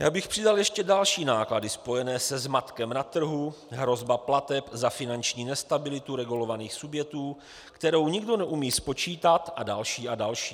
Já bych přidal ještě další náklady spojené se zmatkem na trhu, hrozba plateb za finanční nestabilitu regulovaných subjektů, kterou nikdo neumí spočítat, a další a další.